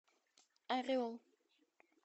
орел